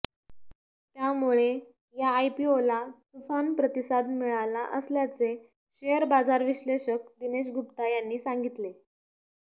त्यामुळे या आयपीओला तुफान प्रतिसाद मिळाला असल्याचे शेअर बाजार विश्लेषक दिनेश गुप्ता यांनी सांगितले